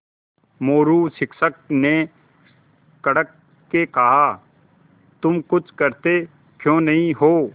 मोरू शिक्षक ने कड़क के कहा तुम कुछ करते क्यों नहीं हो